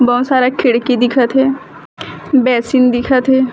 बहोत सारा खिड़की दिखत हे बेसिन दिखत हे।